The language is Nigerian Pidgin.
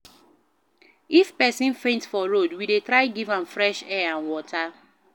If pesin faint for road, we dey try give am fresh air and water.